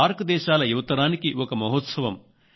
SAARC దేశాల యువతరానికి ఒక మహోత్సవం